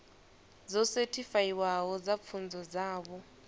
dzo sethifaiwaho dza pfunzo dzavho